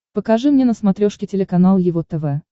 покажи мне на смотрешке телеканал его тв